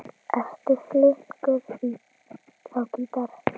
Ertu flinkur á gítar?